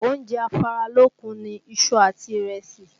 Oúnjẹ afáralókun ni iṣu àti ìrẹsì